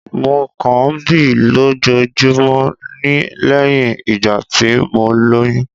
Mo kàn ń bí lójoojúmọ́ ni lẹ́yìn ìgbà tí mo lóyún